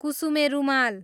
कुसुमे रूमाल